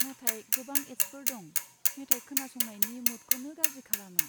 नाथाय गोबां एद्सफोर दं, मेथाइ खोनासंनायनि मुदखौनो गाज्रि खालामो।